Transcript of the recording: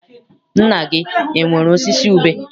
Nna gị enwere osisi ube?